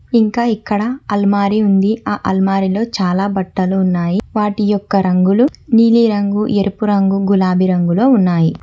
ఇంకా ఇక్కడ అల్మారి ఉంది ఆ అల్మారిలో చాలా బట్టలు ఉన్నాయి వాటి యొక్క రంగులు నీలిరంగు ఎరుపు రంగు గులాబీ రంగులో ఉన్నాయి.